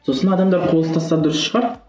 сосын адамдар қол ұстасса дұрыс шығар